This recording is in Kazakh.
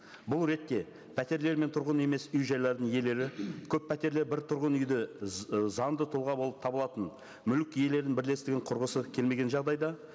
бұл ретте пәтерлер мен тұрғын емес үй жайларының иелері көппәтерлі бір тұрғын үйді ы заңды тұлға болып табылатын мүлік иелерінің бірлестігін құрғысы келмеген жағдайда